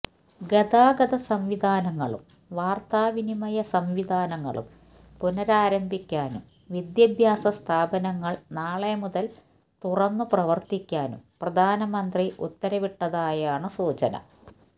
ഗതാഗത സംവിധാങ്ങളും വാർത്തവിനിമയ സംവിധാനങ്ങളും പുനരാരംഭിക്കാനും വിഭ്യാഭ്യാസ സ്ഥാപനങ്ങൾ നാളെ മുതൽ തുറന്നുപ്രവർത്തിക്കാനും പ്രധാനമന്ത്രി ഉത്തരവിട്ടതായാണ് സൂചന